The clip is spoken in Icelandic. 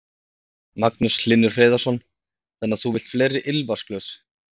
Magnús Hlynur Hreiðarsson: Þannig að þú vilt fleiri ilmvatnsglös?